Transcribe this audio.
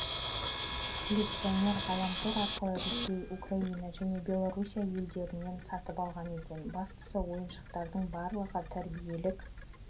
коллекционер ғаламтор арқылы ресей украина және белоруссия елдерінен сатып алған екен бастысы ойыншықтардың барлығы тәрбиелік